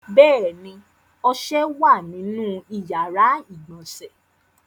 Bẹ́ẹ̀ ni, ọṣẹ wà nínú ìyàrá-ìgbọ̀nsẹ̀.